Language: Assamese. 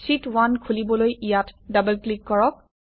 শীত1 খুলিবলৈ ইয়াত ডবল ক্লিক কৰক